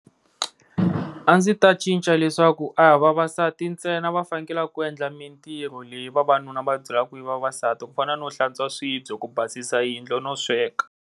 A ndzi ta cinca leswaku a hi vavasati ntsena va fanekelaka ku endla mintirho leyi vavanuna ti byelaka ku ri ya vavasati ku fana no hlantswa swibye ku basisa yindlu no sweka.